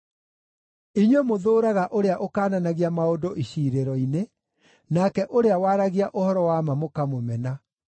inyuĩ mũthũũraga ũrĩa ũkananagia maũndũ iciirĩro-inĩ, nake ũrĩa waragia ũhoro wa ma mũkamũmena.